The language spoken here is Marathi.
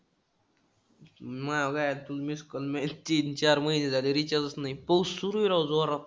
माझं काय तू miss call मी तीन-चार महिने झाले recharge नाही. पाऊस सुरु आहे राव जोरात.